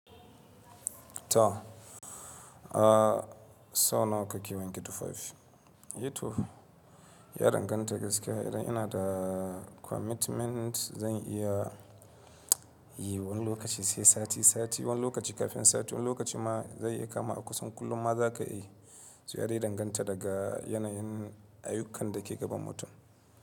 To, a sau nawa kake wanke tufafi? E to, ya danganta gaskiya idan ina da commitment zan iya yi wani lokaci sai sati sati, wani lokaci kafin sati, wani lokaci ma zai iya kama a kusan kullum ma za ka yi. To yarde danganta daga yanayin ayukan da ke gaban mutum.